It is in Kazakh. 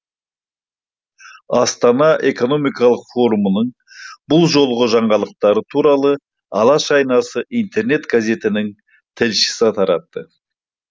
астана экономикалық форумының бұл жолғы жаңалықтары туралы алаш айнасы интернет газетінің тілшісі таратты